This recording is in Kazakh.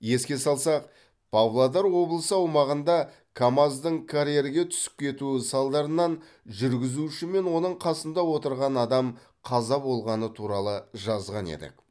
еске салсақ павлодар облысы аумағында камаз дың карьерге түсіп кетуі салдарынан жүргізуші мен оның қасында отырған адам қаза болғаны туралы жазған едік